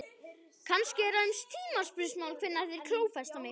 Kannski er aðeins tímaspursmál hvenær þeir klófesta mig?